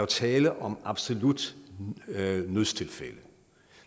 tale om absolutte nødstilfælde